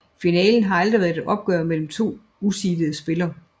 Finalen har aldrig været et opgør mellem to useedede spillere